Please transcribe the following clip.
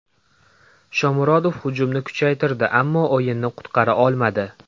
Shomurodov hujumni kuchaytirdi, ammo o‘yinni qutqara olmadi.